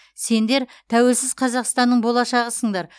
сендер тәуелсіз қазақстанның болашағысыңдар